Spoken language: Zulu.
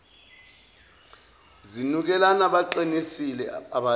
zinukelana baqinisile abathi